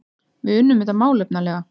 Við unnum þetta málefnalega